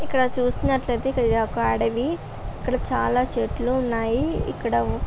ఇక్కడ చూస్తానయితే ఇది ఒక అడవి ఇక్కడ చాలా చెట్లు ఉనాయి ఇక్కడ